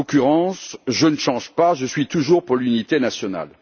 En l'occurrence, je ne change pas, je suis toujours pour l'unité nationale.